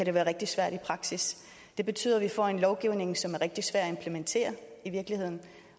det være rigtig svært i praksis det betyder vi får en lovgivning som er rigtig svær at implementere i virkeligheden